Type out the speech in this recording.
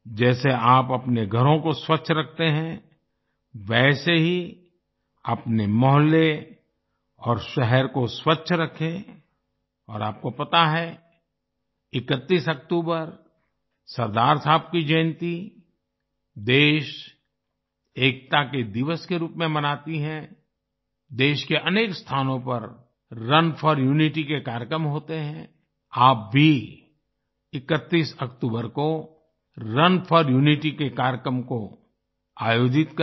जैसे आप अपने घरों को स्वच्छ रखते हैं वैसे ही अपने मोहल्ले और शहर को स्वच्छ रखें और आपको पता है 31 अक्टूबर सरदार साहब की जयंती देश एकता के दिवस के रूप में मनाती है देश के अनेक स्थानों पर रुन फोर यूनिटी के कार्यक्रम होते है आप भी 31 अक्टूबर को रुन फोर यूनिटी के कार्यक्रम को आयोजित करें